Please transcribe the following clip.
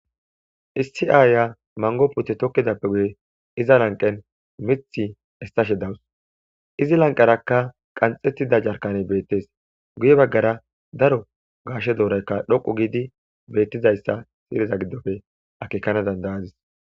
issi aayya mango putte tokkidappe guye iza lanqen mith estashe dawus izi lanqerakka qanxettida jarkaney beettees guye baggara daro gaashe dooraykka dhoqu giidi beettizayssa siriza giddofe akekana dandayadis